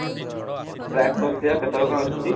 track କରୁଥିବା କେତେବେଳେ କଣ ଆସୁଛି